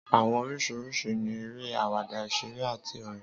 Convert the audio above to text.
Àwọn oríṣìíríṣìí ni eré, àwàdà, ìṣẹ̀lẹ̀, àti orin.